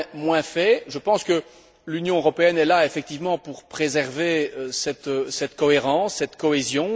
moins fait, je pense que l'Union européenne est là effectivement pour préserver cette cohérence, cette cohésion.